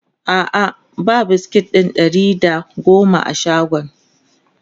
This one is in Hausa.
a'a ba biskit ɗin Ɗari da da goma a shagon